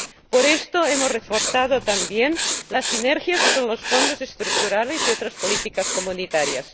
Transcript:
Por esto, hemos reforzado también las sinergias con los Fondos Estructurales y otras políticas comunitarias